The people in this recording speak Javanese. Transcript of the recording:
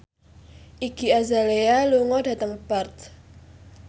Iggy Azalea lunga dhateng Perth